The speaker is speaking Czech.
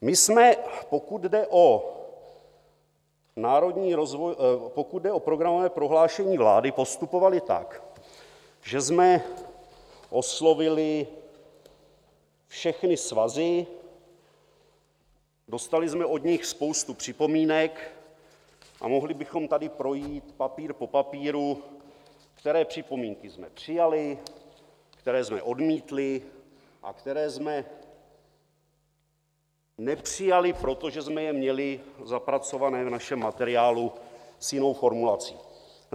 My jsme, pokud jde o programové prohlášení vlády, postupovali tak, že jsme oslovili všechny svazy, dostali jsme od nich spoustu připomínek a mohli bychom tady projít papír po papíru, které připomínky jsme přijali, které jsme odmítli a které jsme nepřijali, protože jsme je měli zapracované v našem materiálu s jinou formulací.